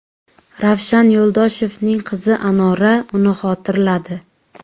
Ravshan Yo‘ldoshevning qizi Anora uni xotirladi.